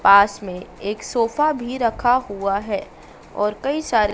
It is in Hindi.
पास में एक सोफा भी रखा हुआ है और कई सारे--